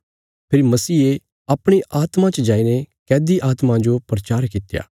फेरी मसीहे अपणी आत्मा च जाईने कैदी आत्मां जो प्रचार कित्या